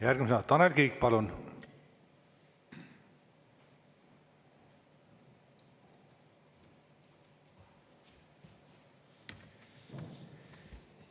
Järgmisena Tanel Kiik, palun!